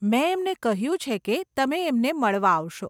મેં એમને કહ્યું છે કે તમે એમને મળવા આવશો.